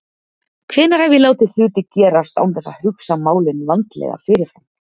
Hvenær hef ég látið hluti gerast án þess að hugsa málin vandlega fyrirfram?